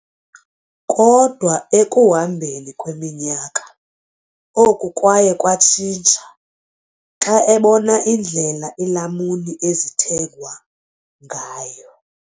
Kodwa ekuhambeni kweminyaka, oku kwaye kwatshintsha xa ebona indlela iilamuni ezithengwa ngayo.